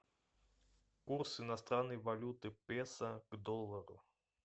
курс иностранной валюты песо к доллару